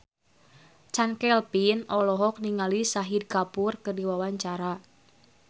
Chand Kelvin olohok ningali Shahid Kapoor keur diwawancara